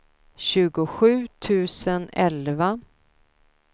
tjugosju tusen elva